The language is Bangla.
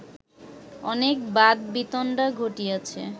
অনেক বাদবিতণ্ডা ঘটিয়াছে